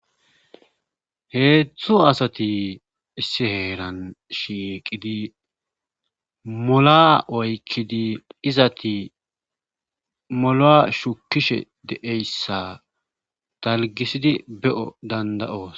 Heetzdtzu asati issi heeran shiiqidi mola oykkidi izati molaa shukishe deeyssa talgisidi be'o danda'oos.